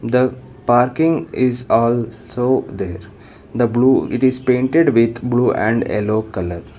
the parking is also there the blue it is painted with blue and yellow colour.